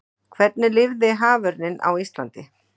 hvernig lifir haförninn á íslandi